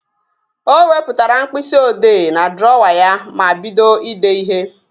O wepụtara mkpịsị odee n'drọwa ya ma bido idee ihe